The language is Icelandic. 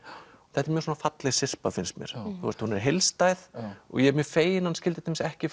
þetta er mjög falleg syrpa finnst mér hún er heildstæð og ég er mjög feginn að skyldi ekki